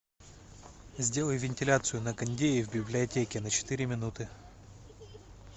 сделай вентиляцию на кондее в библиотеке на четыре минуты